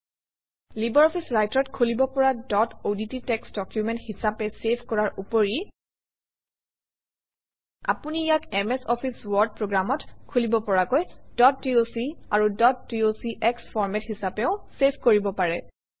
LibreOffice Writer অত খুলিব পৰা ডট অডট টেক্সট ডকুমেণ্ট হিচাপে চেভ কৰাৰ উপৰি আপুনি ইয়াক এমএছ অফিছ ৱৰ্ড প্ৰগ্ৰামত খুলিব পৰাকৈ ডট ডক আৰু ডট ডক্স ফৰমেট হিচাপেও চেভ কৰিব পাৰে